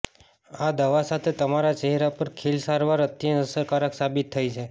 આ દવા સાથે તમારા ચહેરા પર ખીલ સારવાર અત્યંત અસરકારક સાબિત થઇ છે